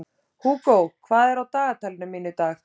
Hugo, hvað er á dagatalinu mínu í dag?